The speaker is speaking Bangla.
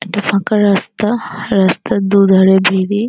''একটা ফাঁকা রাস্তা রাস্তার দু''''ধারে ভেড়ি। ''